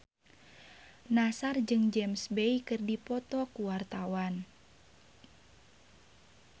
Nassar jeung James Bay keur dipoto ku wartawan